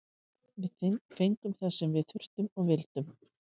Við fengum það sem við þurftum og vildum.